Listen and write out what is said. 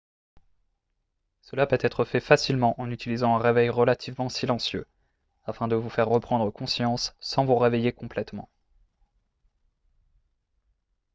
cela peut être fait facilement en utilisant un réveil relativement silencieux afin de vous faire reprendre conscience sans vous réveiller complètement